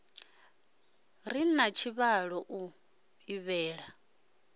re na tshivhalo o ḓivhea